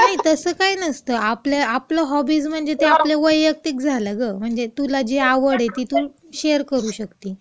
नाही, तसं काही नसतं.आपल्या आपण हॉबीज म्हणजे त्या आपलं वैयक्तिक झालं गं म्हणजे.म्हणजे, तुला जी आवड आहे, ती तू शेअर करू शकतेस.